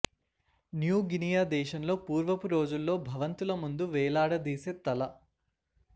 new Guinea దేశంలో పూర్వపు రోజుల్లో భవంతుల ముందు వేలాద దీసే తల